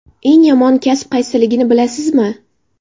Eng yomon kasb qaysiligini bilasizmi?.